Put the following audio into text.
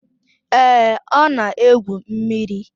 Èé, ọ na-egwu mmiri.